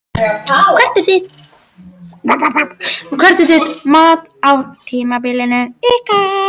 Hvert er þitt mat á tímabilinu ykkar?